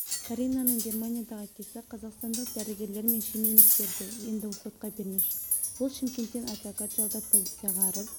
каринаның германиядағы әкесі қазақстандық дәрігерлер мен шенеуніктерді енді сотқа бермекші ол шымкенттен адвокат жалдап полицияға арыз